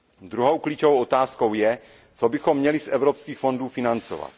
Druhou klíčovou otázkou je, co bychom měli z evropských fondů financovat.